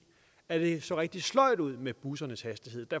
at det så rigtig sløjt ud med bussernes hastighed